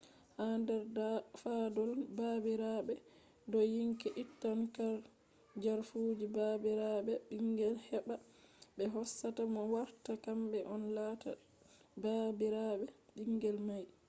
ha nder fadol baabiraɓe dayinki ittan jarfuji baabiraɓe ɓingel heɓɓa ɓe hosata mo warta kamɓe on lata baabiraɓe ɓingel may